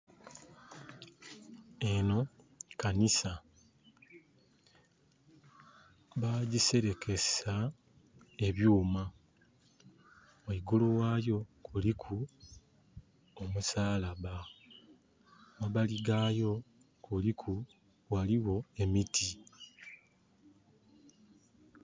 Eno kanisa bajiserekesa ebyuma. Waigulu wayo kuliku omusalaba. Mabali gayo kuliku... ghaliwo emiti